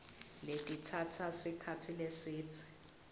letitsatsa sikhatsi lesidze